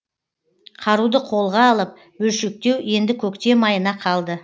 қаруды қолға алып бөлшектеу енді көктем айына қалды